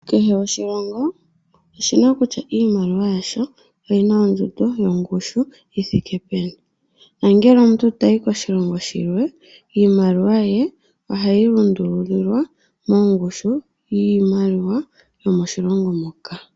Kehe oshilongo oshina kutya iimaliwa yasho oyina ondjuno yongushu yithike peni. Nangele omuntu toyi koshilongo shimwe iimaliwa ye ohayi lundululwa mongushu yiimaliwa yomoshilongo moka.